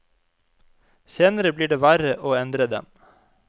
Senere blir det verre å endre dem.